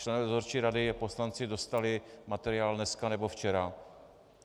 Členové dozorčí rady a poslanci dostali materiál dneska nebo včera.